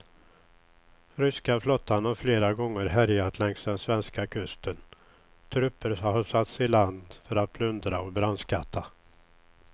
Ryska flottan har flera gånger härjat längs den svenska kusten, trupper har satts i land för att plundra och brandskatta.